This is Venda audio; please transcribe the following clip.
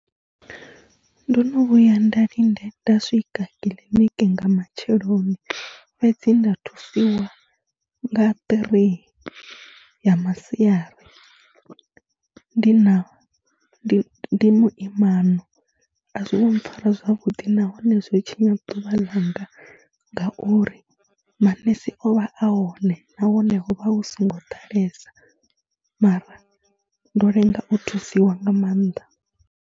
Ndo no vhuya nda linde nda swika kiḽiniki nga matsheloni fhedzi nda thusiwa nga ṱirii ya masiari, ndi na ndi ndi muimano, a zwi ngo mpfhara zwavhuḓi nahone zwo tshinya ḓuvha ḽanga ngauri manese o vha a hone nahone ho vha hu songo ḓalesa mara ndo lenga u thusiwa nga maanḓa.